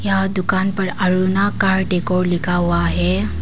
यह दुकान पर अरुणा कार लिखा हुआ है।